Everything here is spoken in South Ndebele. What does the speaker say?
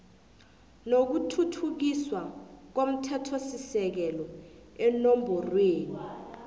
nokuthuthukiswa komthethosisekelo eenomborweni